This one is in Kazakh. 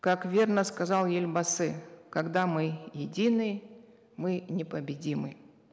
как верно сказал елбасы когда мы едины мы непобедимы